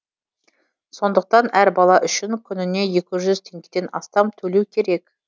сондықтан әр бала үшін күніне екі жүз теңгеден астам төлеу керек